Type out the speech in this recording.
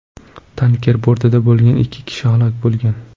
Tanker bortida bo‘lgan ikki ishchi halok bo‘lgan.